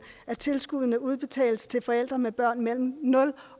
af tilskuddet udbetales til forældre med børn mellem nul